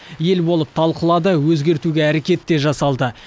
ел болып талқылады өзгертуге әрекет те жасалды